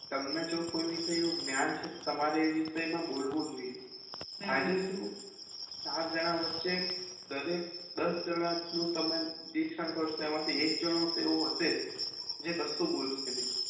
તમને જો કોઈ વિષેનું જ્ઞાન છે તમારે એ વિષય માં બોલવું જોઈએ એટલે શું ચાર જણા વછે દરેક દસ જણા તમે કરશો એમાંથી એક જનો તો એવો હયશે જે કશું બોલશે નય